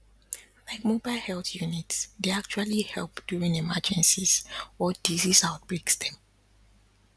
like mobile health units dey actually help during emergencies or disease outbreaks dem